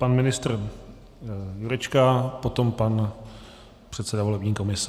Pan ministr Jurečka, potom pan předseda volební komise.